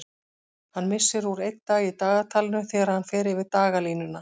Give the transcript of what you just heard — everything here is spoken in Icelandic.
Hann missir úr einn dag í dagatalinu þegar hann fer yfir dagalínuna.